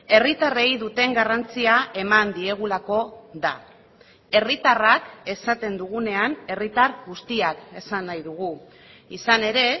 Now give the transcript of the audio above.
herritarrei duten garrantzia eman diegulako da herritarrak esaten dugunean herritar guztiak esan nahi dugu izan ere